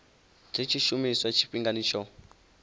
dzi tshi shumiswa tshifhingani tsho